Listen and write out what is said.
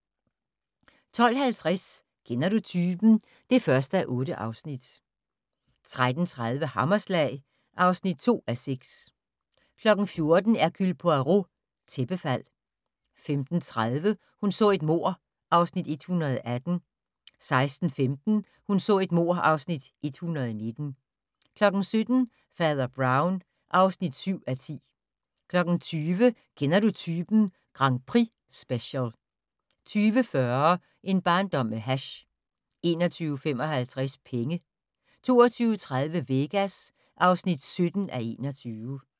12:50: Kender du typen? (1:8) 13:30: Hammerslag (2:6) 14:00: Hercule Poirot: Tæppefald 15:30: Hun så et mord (Afs. 118) 16:15: Hun så et mord (Afs. 119) 17:00: Fader Brown (7:10) 20:00: Kender Du Typen? Grand Prix-special 20:40: En barndom med hash 21:55: Penge 22:30: Vegas (17:21)